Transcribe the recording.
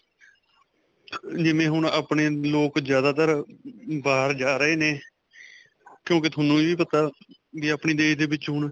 ਜਿਵੇਂ ਹੁਣ ਆਪਣੇ ਲੋਕ ਜਿਆਦਾ ਤਰ ਬਾਹਰ ਜਾ ਰਹੇ ਨੇ ਕਿਉਂਕਿ ਤੁਹਾਨੂੰ ਵੀ ਪਤਾ ਵੀ ਆਪਣੇ ਦੇਸ਼ ਦੇ ਵਿੱਚ ਹੁਣ.